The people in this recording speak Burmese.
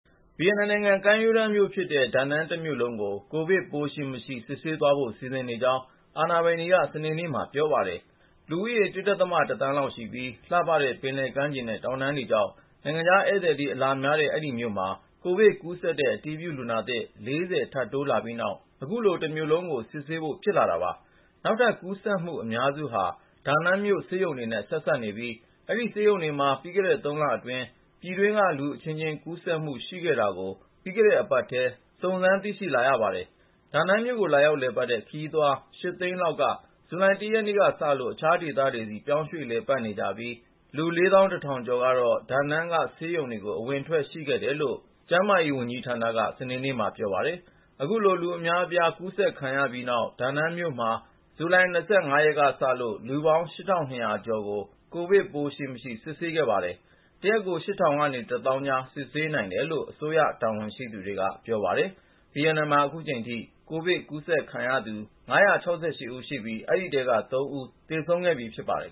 ဗီယက်နမ်နိုင်ငံ ကမ်းရိုးတန်းမြို့ဖြစ်တဲ့ ဒါနန်းတမြို့လုံးကို ကိုဗစ်ပိုး ရှိမရှိ စစ်ဆေးသွားဖို့ စီစဉ်နေကြောင်း အာဏာပိုင်တွေက စနေနေ့မှာ ပြောပါတယ်။ လူဦးရေ ၁.၁ သန်းလောက်ရှိပြီး လှပတဲ့ ပင်လယ်ကမ်းခြေနဲ့ တောင်တန်းတွေကြောင့် နိုင်ငံခြားဧည့်သည် အလာများတဲ့ အဲဒီမြို့မှာ ကိုဗစ်ကူးစက်တဲ့ အတည်ပြုလူနာသစ် ၄၀ ထပ်တိုးလာပြီးနောက် အခုလို တမြို့လုံး စစ်ဆေးဖို့ ဖြစ်လာတာပါ။ နောက်ထပ်ကူးစက်မှု အများစုဟာ ဒါနန်းမြို့ ဆေးရုံတွေနဲ့ ဆက်စပ်နေပြီး အဲဒီဆေးရုံတွေမှာ ပြီးခဲ့တဲ့ ၃ လအတွင်း ပြည်တွင်းက လူအချင်းချင်းကူးစက်မှု ရှိခဲ့တာကို ပြီးခဲ့တဲ့အပတ်ထဲ စုံစမ်းသိရှိလာရပါတယ်။ ဒါနန်းမြို့ကို လာရောက်လည်ပတ်တဲ့ ခရီးသွား ၈ သိန်းလောက်က ဇူလိုင် ၁ ရက်နေ့ကစလို့ အခြားဒေသတွေဆီ ပြောင်းရွှေ့လည်ပတ်နေကြပြီး လူ ၄၁,၀၀၀ ကျော်ကတော့ ဒါနန်းက ဆေးရုံတွေကို အဝင်အထွက် ရှိခဲ့တယ်လို့ ကျန်းမာရေးဝန်ကြီးဌာနက စနေနေ့မှာ ပြောပါတယ်။ အခုလို လူအများအပြား ကူးစက်ခံရပြီးနောက် ဒါနန်းမြို့မှာ ဇူလိုင် ၂၅ ရက်ကစလို့ လူပေါင်း ၈,၂၀၀ ကျော်ကို ကိုဗစ်ရှိမရှိ စစ်ဆေးခဲ့ပါတယ်။ တရက်ကို ၈,၀၀၀ နဲ့ ၁၀,၀၀၀ ကြား စစ်ဆေးနိုင်တယ်လို့ အစိုးရတာဝန်ရှိသူတွေက ပြောပါတယ်။ ဗီယက်နမ်မှာ အခုချိန်ထိ ကိုဗစ်ကူးစက်ခံရသူ ၅၈၆ ဦးရှိပြီး အဲဒီထဲက ၃ ဦး သေဆုံးခဲ့ပြီ ဖြစ်ပါတယ်